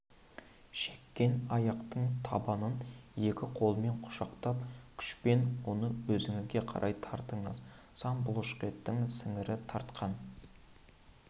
шеккен аяқтың табанын екі қолмен құшақтап күшпен оны өзіңізге қарай тартыңыз сан бұлшықетінің сіңірі тартқан